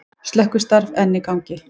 Slökkvistarf enn í gangi